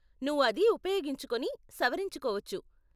నువ్వు అది ఉపయోగించుకొని, సవరించుకోవచ్చు .